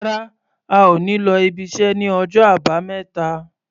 Rárá, a ò ní lọ ibiṣẹ́ ní ọjọ́ Àbámẹ́ta.